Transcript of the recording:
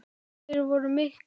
Þeir voru miklir.